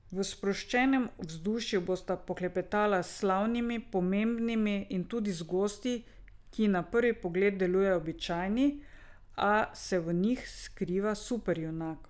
V sproščenem vzdušju bosta poklepetala s slavnimi, pomembnimi in tudi z gosti, ki na prvi pogled delujejo običajni, a se v njih skriva superjunak.